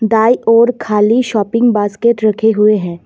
दाई ओर खाली shopping basket रखे हुए हैं।